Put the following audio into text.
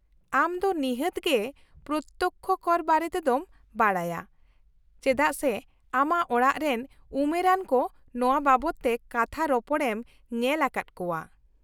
-ᱟᱢ ᱫᱚ ᱱᱤᱦᱟᱹᱛᱜᱮ ᱯᱨᱚᱛᱛᱚᱠᱽᱠᱷᱚ ᱠᱚᱨ ᱵᱟᱨᱮᱛᱮᱫᱚᱢ ᱵᱟᱰᱟᱭᱟ, ᱪᱮᱫᱟᱜ ᱥᱮ ᱟᱢᱟᱜ ᱚᱲᱟᱜᱨᱮᱱ ᱩᱢᱮᱨᱟᱱ ᱠᱚ ᱱᱚᱶᱟ ᱵᱟᱵᱚᱫᱛᱮ ᱠᱟᱛᱷᱟ ᱨᱚᱯᱚᱲ ᱮᱢ ᱧᱮ ᱟᱠᱟᱫ ᱠᱚᱣᱟ ᱾